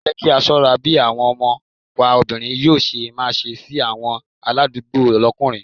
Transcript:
Ẹ jẹ́ kí á ṣọ́ra bí àwọn ọmọ wa obìnrin yóò ṣe máa ṣe sí àwọn aládùúgbò lókùnrin.